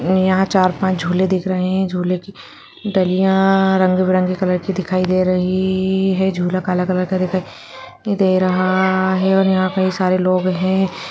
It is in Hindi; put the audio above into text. यहाँ चार-पांच झूले दिख रहे हैं झूले की डलियाँ रंग बिरंगी कलर की दिखाई दे रही हैं झूला काला कलर का दिखाई दे रहा है और यहाँ कई सारे लोग हैं।